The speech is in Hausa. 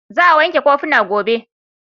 Za a wanke kofuna gobe.